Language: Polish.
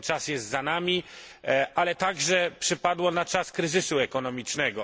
Ten czas jest za nami, ale także przypadło ono na czas kryzysu ekonomicznego.